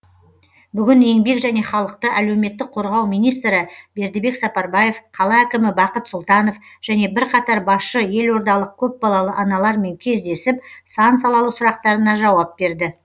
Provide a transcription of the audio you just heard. бүгін еңбек және халықты әлеуметтік қорғау министрі бердібек сапарбаев қала әкімі бақыт сұлтанов және бірқатар басшы елордалық көпбалалы аналармен кездесіп сан салалы сұрақтарына жауап берді